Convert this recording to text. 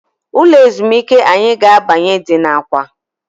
Ụlọ ezumịke anyị ga-abanye dị na awka.